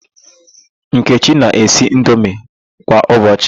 Nkechi na-esi indomi kwa ụbọchị.